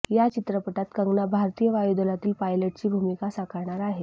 या चित्रपटात कंगना भारतीय वायूदलातील पायलटची भूमिका साकारणार आहे